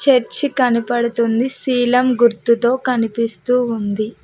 Church కనపడుతుంది శీలం గుర్తుతో కనిపిస్తూ ఉంది.